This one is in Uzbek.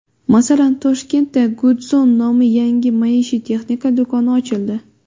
Masalan, Toshkentda GoodZone nomli yangi maishiy texnika do‘koni ochildi.